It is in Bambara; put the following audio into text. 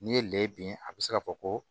N'i ye lɛ bin a bɛ se k'a fɔ ko